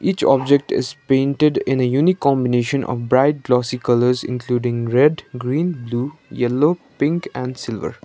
each object is painted in a unique combination of bright glossy colours including red green blue yellow pink and silver.